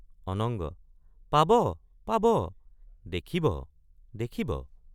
অনঙ্গ—পাব পাব দেখিব দেখিব।